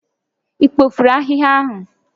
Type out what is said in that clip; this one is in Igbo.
Ị kpofuru ahịhịa ahụ?